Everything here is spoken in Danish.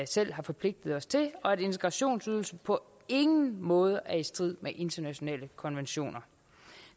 selv har forpligtet os til og at integrationsydelsen på ingen måde er i strid med internationale konventioner